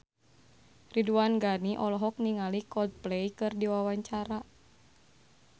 Ridwan Ghani olohok ningali Coldplay keur diwawancara